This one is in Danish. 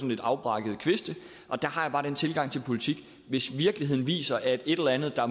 lidt afbrækkede kviste og der har jeg bare den tilgang til politik at hvis virkeligheden viser at et eller andet